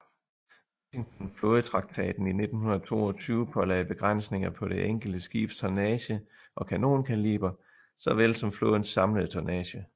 Washington flådetraktaten i 1922 pålagde begrænsninger på det enkelte skibs tonnage og kanonkaliber såvel som flådens samlede tonnage